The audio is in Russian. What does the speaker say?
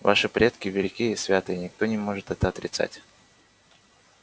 ваши предки велики и святы и никто не может это отрицать